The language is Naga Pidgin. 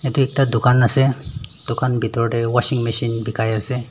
Tey ekta tugan ase tugan bhetor tey washing machine bekai ase.